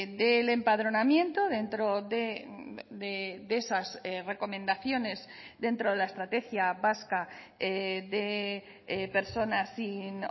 del empadronamiento dentro de esas recomendaciones dentro de la estrategia vasca de personas sin